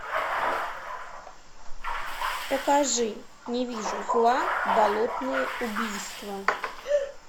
покажи не вижу зла болотные убийства